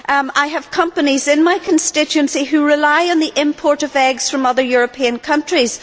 I have companies in my constituency which rely on the import of eggs from other European countries.